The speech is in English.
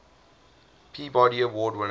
peabody award winners